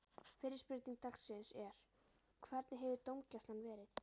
Fyrri spurning dagsins er: Hvernig hefur dómgæslan verið?